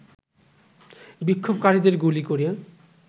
বিক্ষোভকারীদের গুলি করে